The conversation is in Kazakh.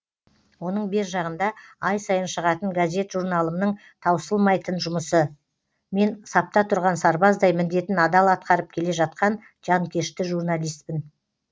оның бержағында ай сайын шығатын газет журналымның таусылмайтын жұмысы мен сапта тұрған сарбаздай міндетін адал атқарып келе жатқан жанкешті журналистпін